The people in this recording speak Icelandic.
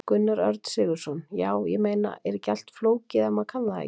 Gunnar Örn Sigurðsson: Já, ég meina, er ekki allt flókið ef maður kann það ekki?